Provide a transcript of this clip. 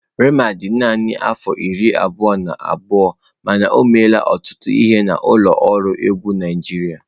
Rema dị naanị afọ iri abụọ na abụọ, mana o meela ọtụtụ ihe na ụlọ ọrụ egwu Naịjirịa.